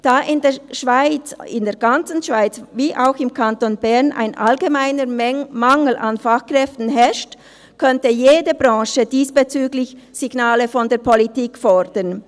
Da in der ganzen Schweiz wie auch im Kanton Bern ein allgemeiner Mangel an Fachkräften herrscht, könnte jede Branche diesbezüglich Signale von der Politik fordern.